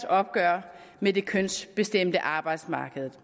opgør med det kønsbestemte arbejdsmarked